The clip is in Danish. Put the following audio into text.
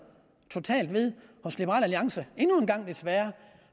ved sit hos liberal alliance endnu en gang desværre